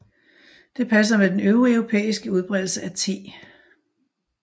Det passer med den øvrige europæiske udbredelse af te